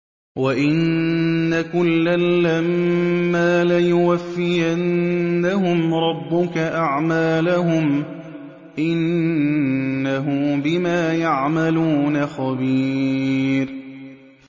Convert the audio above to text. وَإِنَّ كُلًّا لَّمَّا لَيُوَفِّيَنَّهُمْ رَبُّكَ أَعْمَالَهُمْ ۚ إِنَّهُ بِمَا يَعْمَلُونَ خَبِيرٌ